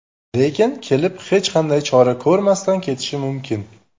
Lekin kelib, hech qanday chora ko‘rmasdan ketishi mumkin.